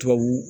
Tubabu